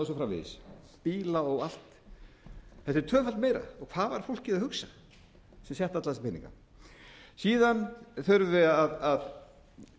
svo framvegis bíla og allt þetta er tvöfalt meira og hvað var fólkið að hugsa sem setti alla þessa peninga síðan þurfum við að